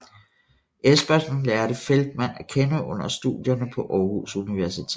Espersen lærte Feltmann at kende under studierne på Aarhus Universitet